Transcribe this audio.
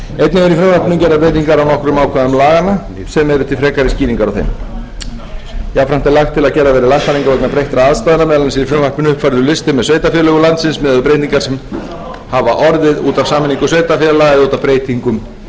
laganna sem eru til frekari skýringar á þeim jafnframt er lagt til að gerðar verði lagfæringar vegna breyttra aðstæðna meðal annars er í frumvarpinu upphaflegur listi með sveitarfélögum landsins miðað við breytingar sem hafa orðið út af sameiningu sveitarfélaga út af breytingum á heiti þeirra